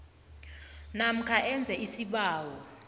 namkha enze isibawo